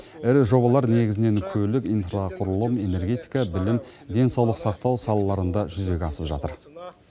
ірі жобалар негізінен көлік инфрақұрылым энергетика білім денсаулық сақтау салаларында жүзеге асып жатыр